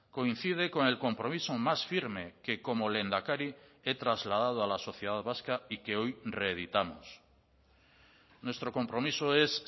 coincide con el compromiso más firme que como lehendakari he trasladado a la sociedad vasca y que hoy reeditamos nuestro compromiso es